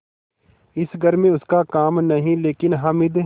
इस घर में उसका काम नहीं लेकिन हामिद